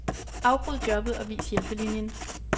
Afbryd jobbet og vis hjælpelinien.